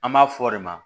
An b'a fɔ o de ma